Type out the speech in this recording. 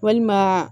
Walima